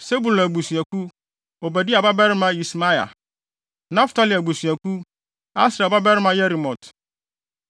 Sebulon abusuakuw: Obadia babarima Yismaia; Naftali abusuakuw: Asriel babarima Yerimot;